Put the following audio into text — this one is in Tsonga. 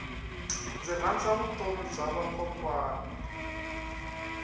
ndzi rhandza vutomi bya vakokwana